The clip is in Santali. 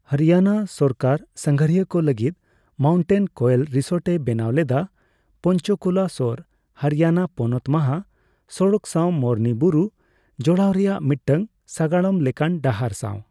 ᱦᱚᱨᱤᱭᱟᱱᱟ ᱥᱚᱨᱠᱟᱨ ᱥᱟᱸᱜᱷᱟᱨᱤᱭᱟᱹ ᱠᱚ ᱞᱟᱹᱜᱤᱫ ᱢᱟᱣᱩᱱᱴᱮᱱ ᱠᱳᱭᱮᱞ ᱨᱤᱥᱳᱴ ᱮ ᱵᱮᱱᱟᱣ ᱞᱮᱫᱟ, ᱯᱚᱧᱪᱚ ᱠᱩᱞᱟ ᱥᱳᱨ ᱦᱚᱨᱤᱭᱟᱱᱟ ᱯᱚᱱᱚᱛ ᱢᱚᱦᱟ ᱥᱚᱲᱚᱠ ᱥᱟᱣ ᱢᱚᱨᱱᱤ ᱵᱩᱨᱩ ᱡᱚᱲᱟᱣ ᱨᱮᱭᱟᱜ ᱢᱤᱫᱴᱟᱝ ᱥᱟᱜᱟᱲᱚᱢ ᱞᱮᱠᱟᱱ ᱰᱟᱦᱟᱨ ᱥᱟᱣ ᱾